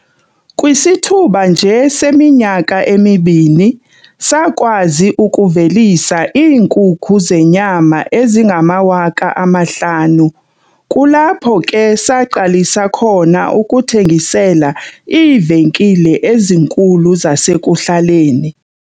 "Kwisithuba nje seminyaka emibini, sakwazi ukuvelisa iinkukhu zenyama ezingama-5 000, kulapho ke saqalisa khona ukuthengisela iivenkile ezinkulu zasekuhlaleni."